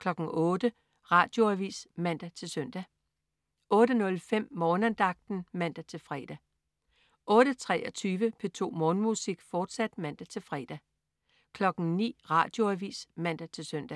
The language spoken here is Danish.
08.00 Radioavis (man-søn) 08.05 Morgenandagten (man-fre) 08.23 P2 Morgenmusik, fortsat (man-fre) 09.00 Radioavis (man-søn)